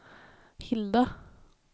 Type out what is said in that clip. Hilda